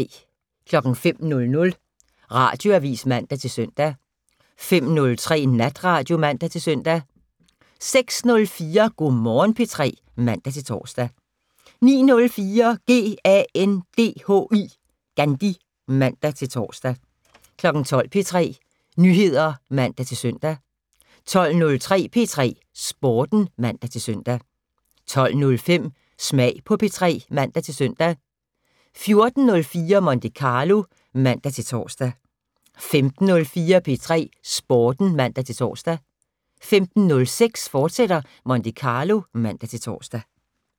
05:00: Radioavis (man-søn) 05:03: Natradio (man-søn) 06:04: Go' Morgen P3 (man-tor) 09:04: GANDHI (man-tor) 12:00: P3 Nyheder (man-søn) 12:03: P3 Sporten (man-søn) 12:05: Smag på P3 (man-søn) 14:04: Monte Carlo (man-tor) 15:04: P3 Sporten (man-tor) 15:06: Monte Carlo, fortsat (man-tor)